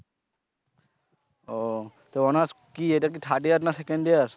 তো honor's কি এটা কি third year না second year?